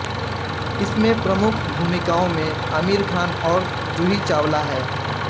इसमें प्रमुख भूमिकाओं में आमिर खान और जूही चावला है